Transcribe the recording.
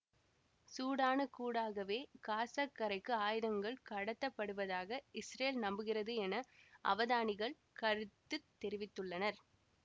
சூடானுக்கூடாகவே காசக் கரைக்கு ஆயுதங்கள் கடத்தப்படுவதாக இசுரேல் நம்புகிறது என அவதானிகள் கருத்து தெரிவித்துள்ளனர்